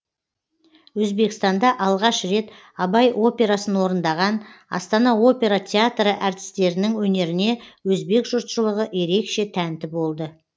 өзбекстанда алғаш рет абай операсын орындаған астана опера театры әртістерінің өнеріне өзбек жұртшылығы ерекше тәнті болды